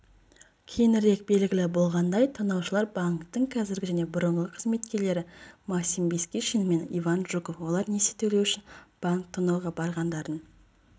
кейінірек белгілі болғандай тонаушылар банктің қазіргі және бұрынғы қызметкерлері максим бескишин мен иван жуков олар несие төлеу үшін банк тонауға барғандарын